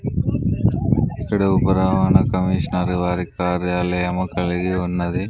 ఇక్కడ ఒక రవాణా కమీషనర్ వారి కార్యాలయం కలిగి ఉన్నది.